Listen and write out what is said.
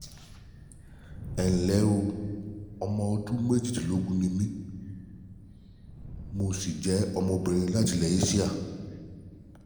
Ẹ ǹlẹ́ o, Ọmọ ọdún méjìlélógún ni mí, mo sì jẹ́ ọmọbìnrin láti ilẹ̀ Eéṣíà